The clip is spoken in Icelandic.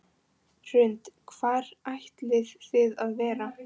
Hrund: Hvar ætlið þið að vera?